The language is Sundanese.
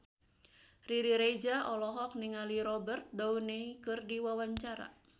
Riri Reza olohok ningali Robert Downey keur diwawancara